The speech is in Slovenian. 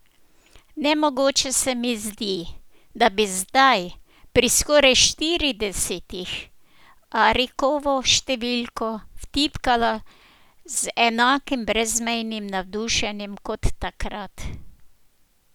Nemogoče se mi zdi, da bi zdaj, pri skoraj štiridesetih, Arikovo številko vtipkala z enakim brezmejnim navdušenjem kot takrat.